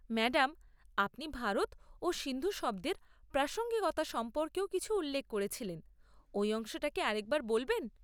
Madam, আপনি ভারত ও সিন্ধু শব্দের প্রাসঙ্গিকতা সম্পর্কেও কিছু উল্লেখ করেছিলেন; ওই অংশটা কি আরেকবার বলবেন?